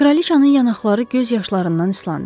Kraliçanın yanaqları göz yaşlarından ıslandı.